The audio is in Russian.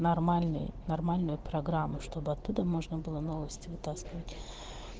нормальные нормальную программу чтобы оттуда можно было новости вытаскивать